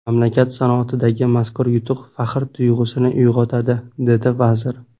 Mamlakat sanoatidagi mazkur yutuq faxr tuyg‘usini uyg‘otadi”, dedi vazir.